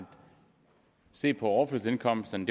se på overførselsindkomsterne